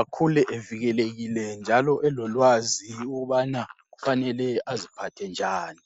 akhule evikelekile njalo elolwazi ukubana kufanele aziphathe njani.